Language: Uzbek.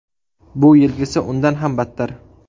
Bu yilgisi undan ham battar.